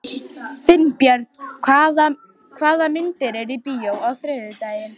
Finnbjörg, hvaða myndir eru í bíó á þriðjudaginn?